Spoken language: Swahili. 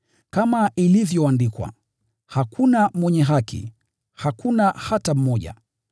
Kama ilivyoandikwa: “Hakuna mwenye haki, hakuna hata mmoja.